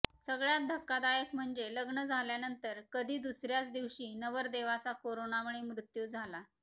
सगळ्यात धक्कादायक म्हणजे लग्न झाल्यानंतर कधी दुसर्याच दिवशी नवरदेवाचा कोरोनामुळे मृत्यू झाला